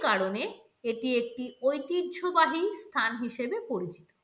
কারণে এটি একটি ঐতিহ্যবাহী স্থান হিসেবে পরিচিত।